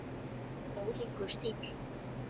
Ólíkur stíll.